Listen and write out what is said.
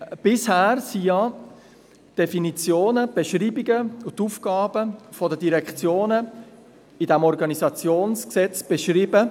Bisher waren ja die Definitionen, Beschreibungen und Aufgaben der Direktionen im OrG beschrieben.